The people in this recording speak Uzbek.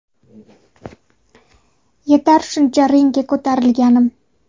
Yetar shuncha ringga ko‘tarilganim.